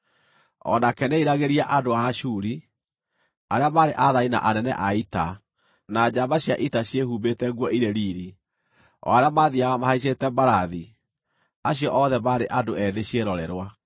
O nake nĩeriragĩria andũ a Ashuri, arĩa maarĩ aathani na anene a ita, na njamba cia ita ciĩhumbĩte nguo irĩ riiri, o arĩa maathiiaga mahaicĩte mbarathi, acio othe maarĩ andũ ethĩ ciĩrorerwa.